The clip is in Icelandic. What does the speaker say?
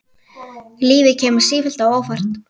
Lífið kemur sífellt á óvart.